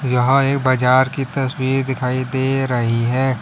यहां एक बाजार की तस्वीर दिखाई दे रही है।